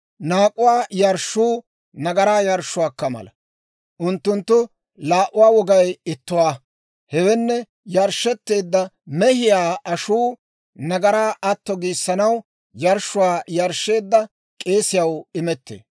« ‹Naak'uwaa yarshshuu nagaraa yarshshuwaakka mala; unttunttu laa"uwaa wogay ittuwaa. Hewenne yarshshetteedda mehiyaa ashuu nagaraa atto giissanaw yarshshuwaa yarshsheedda k'eesiyaw imettee.